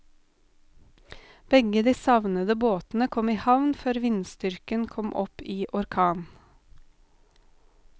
Begge de savnede båtene kom i havn før vindstyrken kom opp i orkan.